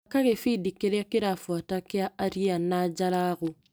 Thaka gĩbindi kĩrĩa kĩrabuata kĩa aria na Jalagu.